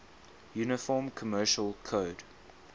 uniform commercial code